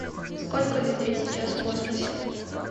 сколько людей сейчас в космосе